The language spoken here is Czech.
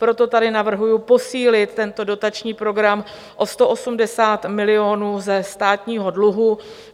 Proto tady navrhuji posílit tento dotační program o 180 milionů ze státního dluhu.